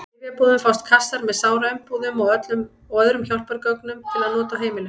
Í lyfjabúðum fást kassar með sáraumbúðum og öðrum hjálpargögnum til nota á heimilum.